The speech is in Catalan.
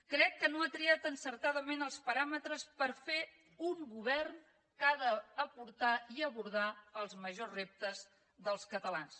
crec que no ha triat encertadament els paràmetres per fer un govern que ha d’aportar i abordar els majors reptes dels catalans